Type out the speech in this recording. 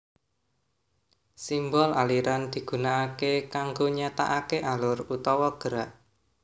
Simbol aliran digunakaké kanggo nyatakaké alur utawa gerak